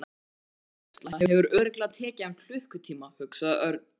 Þessi hárgreiðsla hefur örugglega tekið hann klukkutíma hugsaði Örn.